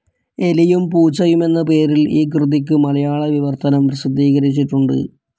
എലിയും പൂച്ചയും എന്ന പേരിൽ ഈ കൃതിക്ക് മലയാള വിവർത്തനം പ്രസിദ്ധീകരിച്ചിട്ടുണ്ട്.